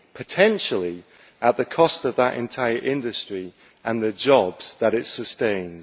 potentially at the cost of that entire industry and the jobs that it sustains.